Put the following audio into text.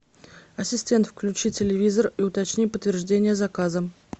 ассистент включи телевизор и уточни подтверждение заказа